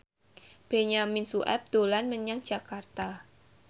Benyamin Sueb dolan menyang Jakarta